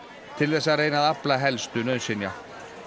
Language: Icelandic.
til þess að reyna að afla helstu nauðsynja